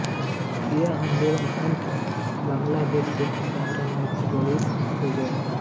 यह आन्दोलन अन्ततः बांग्लादेश मुक्ति संग्राम में परिणित हो गया